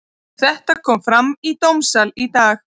Þetta kom fram í dómssal í dag.